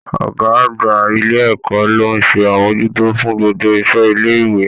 Ọ̀gá àgbà ilé ẹ̀kọ́ ló ń ṣe amojuto fún gbogbo isẹ ilé ìwé.